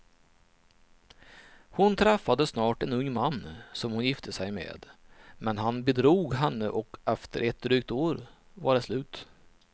Hon träffade snart en ung man som hon gifte sig med, men han bedrog henne och efter ett drygt år var det slut.